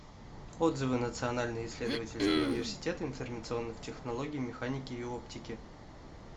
отзывы национальный исследовательский университет информационных технологий механики и оптики